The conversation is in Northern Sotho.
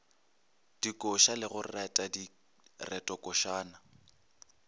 dikoša le go reta diretokošana